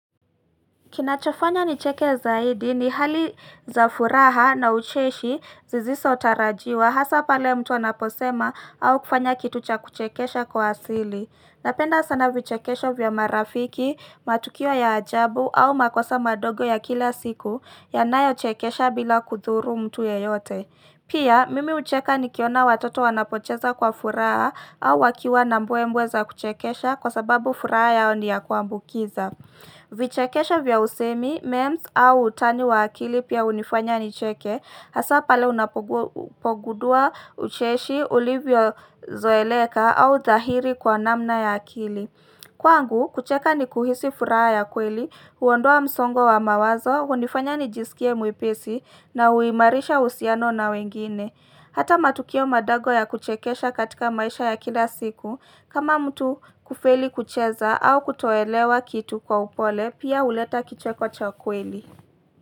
Kinachofanya nicheke zaidi ni hali za furaha na ucheshi zisizo tarajiwa hasa pale mtu anaposema au kufanya kitu cha kuchekesha kwa asili. Napenda sana vichekesho vya marafiki, matukio ya ajabu au makosa madogo ya kila siku yanayo chekesha bila kudhuru mtu yeyote. Pia, mimi hucheka nikiona watoto wanapocheza kwa furaha au wakiwa na mbwe mbwe za kuchekesha kwa sababu furaha yao ni ya kuambukiza. Vichekesho vya usemi, memes au utani wa akili pia hunifanya nicheke, hasa pale unapogundua ucheshi, ulivyo zoeleka au dhahiri kwa namna ya akili. Kwangu, kucheka ni kuhisi furaha ya kweli, huondoa msongo wa mawazo, hunifanya nijisikie mwepesi na huimarisha uhusiano na wengine. Hata matukio madogo ya kuchekesha katika maisha ya kila siku kama mtu kufeli kucheza au kutoelewa kitu kwa upole pia huleta kicheko cha kweli.